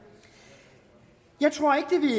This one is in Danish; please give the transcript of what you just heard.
jeg tror